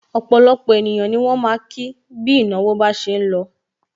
Opolopo ènìyàn ni wọn ma ki bi ìnáwó bá ṣe ń lọ.